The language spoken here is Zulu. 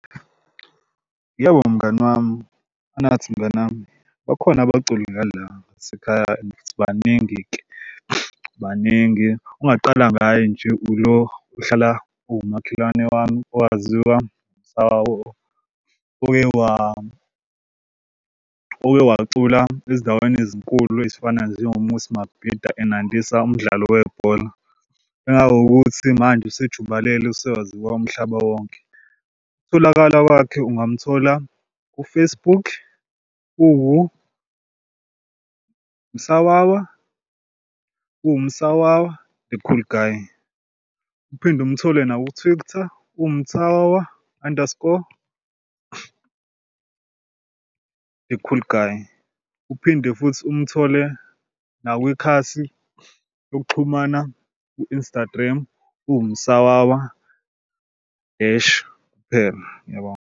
Yebo mngani wami, Anathi, mngani wami bakhona abaculi ngala ngasekhaya and baningi-ke baningi. Ongaqala ngayo nje ulo uhlala owumakhelwane wami owaziwa uMsawawa oke okewacula ezindaweni ezinkulu ezifana njengo-Moses Mabhida enandisa umdlalo webhola kangangokuthi manje usejubalele, usewaziwa umhlaba wonke. Ukutholakala kwakhe ungamthola ku-Facebook uwuMsawawa uwuMsawawa the cool guy. Uphinde umthole uwuMsawawa underscore the cool guy. Uphinde futhi umthole nakwikhasi yokuxhumana u-Instagram uwuMsawawa dash kuphela. Ngiyabonga.